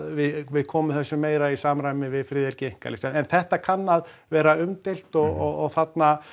við komum þessu meira í samræmi við friðhelgi einkalífs en þetta kann að vera umdeilt og þarna